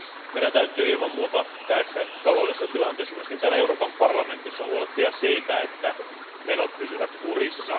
Meidän täytyy ilman muuta tässä taloudellisessa tilanteessa myös täällä Euroopan parlamentissa huolehtia siitä, että menot pysyvät kurissa.